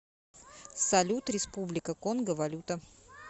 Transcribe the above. салют республика конго валюта